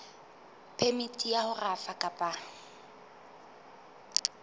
phemiti ya ho rafa kapa